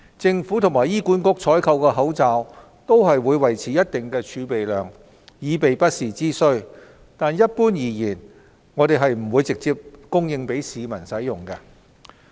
政府和醫管局採購的口罩會維持一定的儲備量，以備不時之需，但一般而言並不會直接供應給市民使用。